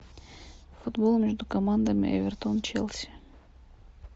футбол между командами эвертон челси